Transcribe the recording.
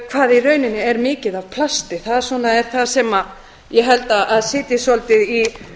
hvað í rauninni er mikið af plasti það svona er það sem ég held að sitji svolítið í